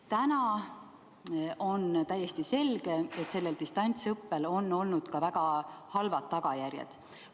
Täna on täiesti selge, et distantsõppel on olnud ka väga halvad tagajärjed.